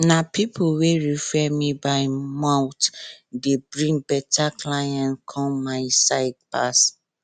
na people wey refer me by mouth dey bring better clients come my side pass